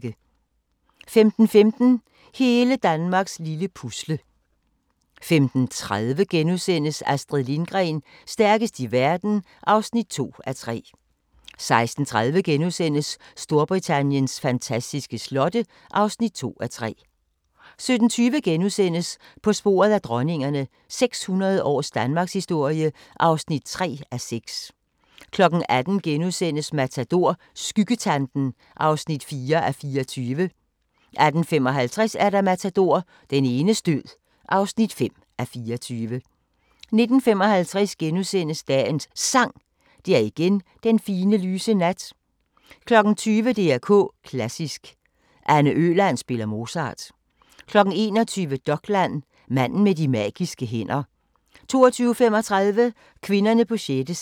15:15: Hele Danmarks lille Pusle 15:30: Astrid Lindgren – stærkest i verden (2:3)* 16:30: Storbritanniens fantastiske slotte (2:3)* 17:20: På sporet af dronningerne – 600 års danmarkshistorie (3:6)* 18:00: Matador – Skyggetanten (4:24)* 18:55: Matador – Den enes død (5:24) 19:55: Dagens Sang: Det er igen den fine, lyse nat * 20:00: DR K Klassisk: Anne Øland spiller Mozart 21:00: Dokland: Manden med de magiske hænder 22:35: Kvinderne på sjette sal